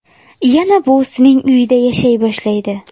Yana buvisining uyida yashay boshlaydi.